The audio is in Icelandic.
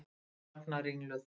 Ég þagna ringluð.